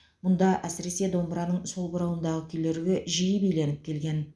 мұнда әсіресе домбыраның сол бұрауындағы күйлерге жиі биленіп келген